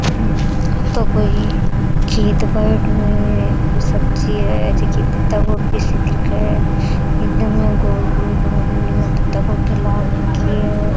आ तो कोई खेत बड़ रो है कोई सब्जी है जिकी पत्ता गोभी सी दिखे है एकदम इया गोल गोल इया पत्ता गोभी लाग रखी है।